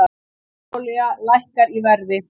Hráolía lækkar í verði